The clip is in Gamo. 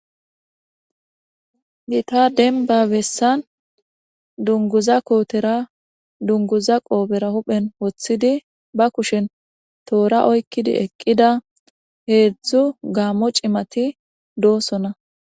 Gitta de'eba besan dunguza qophera huphe woxidi ba kushe toora oyikidi eqida hezu gamo cimati de'osona